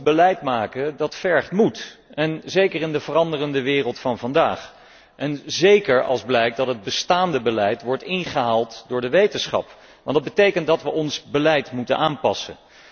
Goed beleid maken vergt moed, zeker in de veranderende wereld van vandaag en zeker als blijkt dat het bestaande beleid wordt ingehaald door de wetenschap, want dat betekent dat we ons beleid moeten aanpassen.